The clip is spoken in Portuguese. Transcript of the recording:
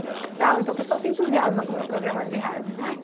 O pessoal se entusiasma com o meu programa de rádio, né.